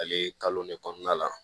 Ale kalo ne kɔnɔna la